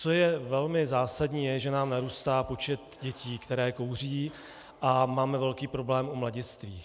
Co je velmi zásadní, je, že nám narůstá počet dětí, které kouří, a máme velký problém u mladistvých.